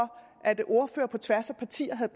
at ordførere på tværs af partier havde